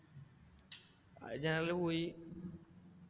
അത് general ൽ പോയി.